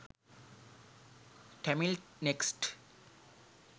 tamil next